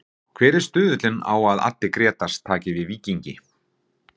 Hver er stuðullinn á að Addi Grétars taki við Víkingi?